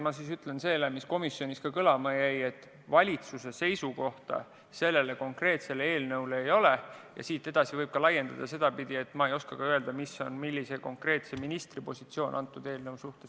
Ma ütlen veel kord, mis komisjoniski kõlama jäi: valitsuse seisukohta selle konkreetse eelnõu kohta ei ole ja seda võib laiendada ka nii, et ma ei oska öelda, milline on konkreetse ministri positsioon selle eelnõu suhtes.